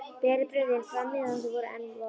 Berið brauðin fram meðan þau eru enn volg.